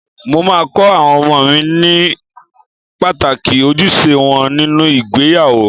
Mo máa kọ àwọn ọmọ mi ní pàtàkì ojúṣe wọn nínú ìgbéyàwó.